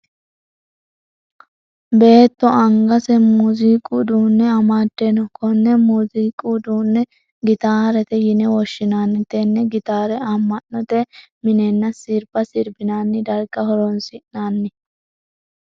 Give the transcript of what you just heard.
Beetto angase muuziiqu uduune amade no. Konne muuziiqu uduunne gitaarete yinne woshinnanni. Tenne gitaare ama'note minenna sirba sirbinnanni darga horoonsi'nanni.